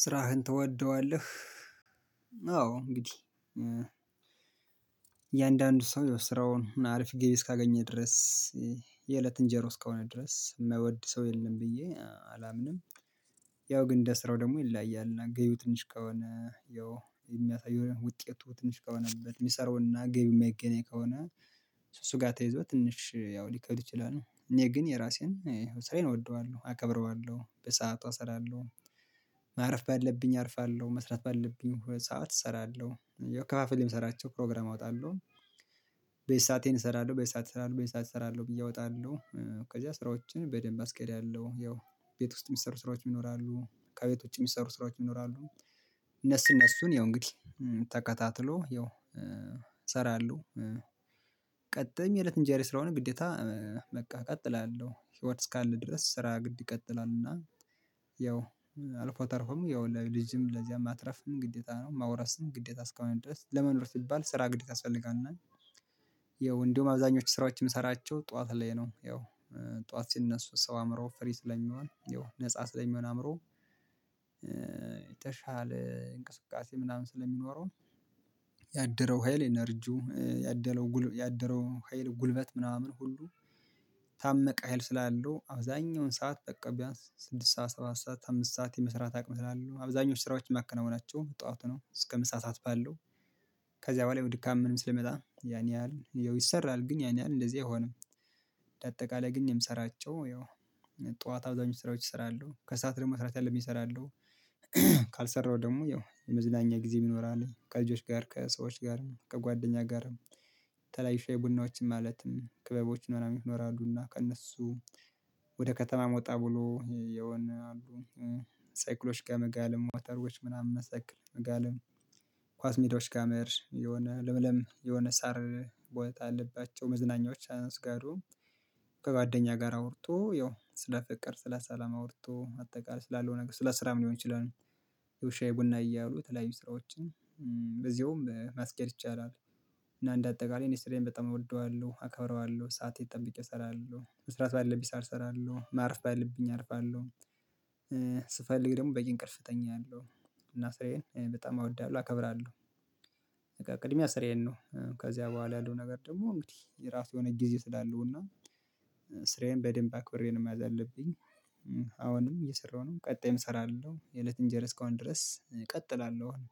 ስራህን ትወደዋለህ? አዎ እንግዲህ የአንዳንዱ ሰው ስራውን አሪፊ ገቢ እስካገኘ ድረስ የእለት እንጀሮ እስከሆነ ድረስ የማይወድ ሰው የለም ብዬ አላምንም። ያው ግን እንደ ስራው ደግሞ ይለያያል እና ግቢው ትንሽ ከሆነ ያው የሚያሳየው ውጤቱ ትንሽ ከሆነበት የሚሰራውና ገቢው የማይገናኝ ከሆነ። እሱ ጋር ተይዞ ትንሽ ያው ሊከብድ ይችላል እኔ ግን የራሴን ስሬን እወደዋለሁ አከብረዋለሁ በሰአቱ አሰራለሁ። ማረፍ ባለብኝ አርፋለሁ መስራት ባለብኝ ሁለት ሰዓት እሰራለሁ። ከፋፈል የምሰራቸው ፕሮግራም አወጣለሁ። በየሰአቴን እሰራለሁ በየሰአት እሰራለሁ በየሰአት እሰራለሁ ብዬ እወጣለሁ ከዚያ ስራዎችን በደንብ አስኬዳለሁ። ያው ቤት ውስጥ የሚሰሩ ስራዎች ይኖራሉ ከቤቶች የሚሰሩ ስራዎች ይኖራሉ። እነሱ እነሱን ያው እንግዲህ ተከታትሎ ያው እሰራለሁ። ቀጥሜ እለት እንጀራ ስለሆነ ግዴታ በቃ እቀጥላለሁ ህይወት እስካለ ድረስ ስራ ግድ ይቀጥላል። እና ያው አልፎ ተርፎም ያው ለልጅም ለዚያም ማትረፍም ግዴታ ነው። ማውረስም ግዴታ እስካሁን ድረስ ለመኖር ሲባል ስራ ግዴታ ያስፈልጋል። እና ያው እንደውም አብዛኞቹ ስራዎችን የምሰራቸው ጠዋት ላይ ነው ያው ጠዋት ሲነሱ ሰው አምሮ ፍሪ ስለሚሆን ያው ነፃ ስለሚሆን አምሮ የተሻለ እንቅስቃሴ ምናምን ስለሚኖረው። ያደረው ሀይል ኢነርጂው ያደረው ያደረው ሀይል ጉልበት ምናምን ሁሉ ታመቀ ሀይል ስላለው አብዛኛውን ሰዓት ጠቀብያት ስድስት ሰዓት ሰባት ሰዓት አምስት ሰዓት የመስራት አቅም ስላለው አብዛኞቹ ስራዎች የማከናውናቸው ጠዋት ነው። እስከ ምሳ ሰዓት ባለው ከዚያ በኋላ የውድካም ምንም ስለመጣ ያን ያህል ይሰራል ግን ያን ያህል እንደዚህ አይሆንም። በአጠቃላይ ግን የምሰራቸው ያው ጠዋት አብዛኞቹ ስራዎች እሰራለሁ ከሰአት ደግሞ ስራት ያለብኝ እሰራለሁ። ካልሰራሁ ደግሞ ያው የመዝናኛ ጊዜ ይኖራል ከልጆች ጋር ከሰዎች ጋር ከጓደኛ ጋር። ተላይፋ ዌ ቡናዎችም ማለትም ክበቦች ምናምን ይኖራሉና ከእነሱ ወደ ከተማ መውጣት ብሎ የሆነ አሉ ሳይክሎች ጋር መጋለም ሞተሮች ምናምን መሳክል መጋለም ኳስ ሜዳዎች ጋር መሄድ የሆነ ለምለም የሆነ ሳር ቦታ አለባቸው። መዝናኛዎች አነስጋሪው ከጓደኛ ጋር አውርቶ ያው ስለ ፍቅር ስለ ሰላም አውርቶ አጠቃላይ ስላለው ነገር ስለ ስራም ሊሆን ይችላል። ያው ሻይ የቡና እያሉ የተለያዩ ስራዎችን በዚሁም ማስቀል ይቻላል። እና እንደ አጠቃላይ ኢንደስትሪያን በጣም እወልደዋለሁ አከብረዋለሁ ሰዓት የተጠበቀ እሰራለሁ መስራት ባለብኝ አልፋለሁ። ስፈልግ ደግሞ በይ እንቅርፍተኛ አለው እና ስራዬን በጣም አወዳለሁ አከብራለሁ። በቃ ቅድሚያ ስራዬን ነው ከዚያ በኋላ ያለው ነገብኝ አሁንም እየሰራሁ ነው ቀጣይም እሰራለሁ የእለት እንጀር እስካሁን ድረስ እቀጥላለሁ። አሁን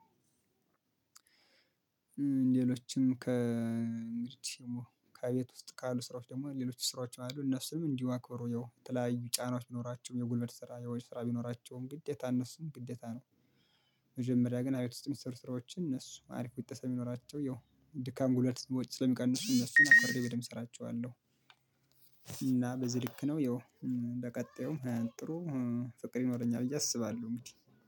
ሌሎችም ከመሬት ደግሞ ከቤት ውስጥ ካሉ ስራዎች ደግሞ ሌሎች ስራዎች አሉ እነሱንም እንዲሁ አክብሮ ያው ተለያዩ ጫናዎች ቢኖራቸውም የጉልበት ስራ ያው ስራ ቢኖራቸውም ግዴታ እነሱን ግዴታ ነው። መጀመሪያ ግን አቤት ውስጥ የሚሰሩ ስራዎች እእነሱ አሪፍ ቢጠሰም ይኖራቸው ያው ድካም ጉልበት ስሞች ስለሚቀንሱ እነሱን አክብሬ በደንብ እሰራቸዋለሁ። እና በዚህ ልክ ነው ያው እንደ ቀጣዩ ጥሩ ፍቅር ይኖረኛል ብዬ አስባለሁ። ምንድነው